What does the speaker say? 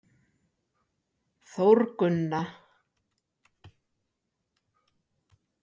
Þórgunna